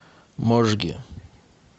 можге